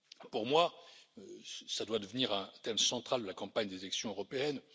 Pour moi, cela doit devenir un thème central de la campagne des élections européennes.